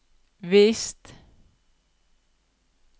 visst